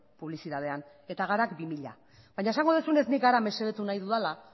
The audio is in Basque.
publizitatean eta garak bi mila baino esango duzunez nik gara mesedetu nahi dudala